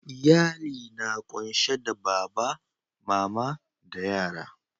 Iyalli na kunsi da baba, mama da yara.